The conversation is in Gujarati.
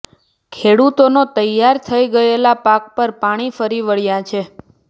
ખેડૂતોનો તૈયાર થઈ ગયેલા પાક પર પાણી ફરી વળ્યા છે